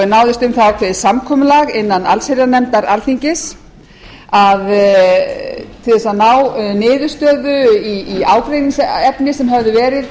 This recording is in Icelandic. náðist um það ákveðið samkomulag innan allsherjarnefndar alþingis að ná niðurstöðu í ágreiningsefni sem hafði verið